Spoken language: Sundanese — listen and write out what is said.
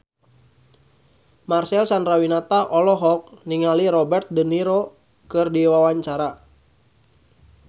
Marcel Chandrawinata olohok ningali Robert de Niro keur diwawancara